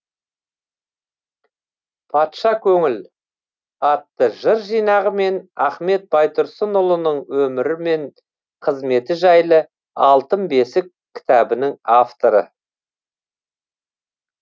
патша көңіл атты жыр жинағы мен ахмет байтұрсынұлының өмірі мен қызметі жайлы алтын бесік кітабының авторы